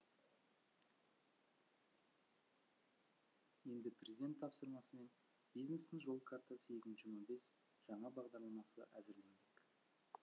енді президент тапсырмасымен бизнестің жол картасы екі мың жиырма бес жаңа бағдарламасы әзірленбек